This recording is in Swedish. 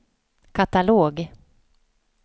katalog